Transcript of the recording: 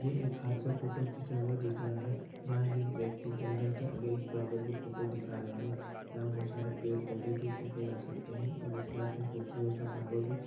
ये हाथ से फोटो खिंचा हुआ दिख रहा है जहाँ व्यक्ति जंगल के आगे एक फ्लावर की फोटो दिखा रहा है यहाँ बोहत सारी पेड़ पौधे भी देखे जा सकते है और इस के हाथ में खूबसरत सा फ्लावर --